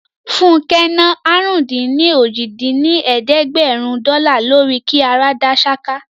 Fúnkẹ́ ná àrún-dín-ní-ojì dín ní ẹ̀ẹ́dẹ́gbẹ́rún dọ́là lórí kí ara dá ṣáká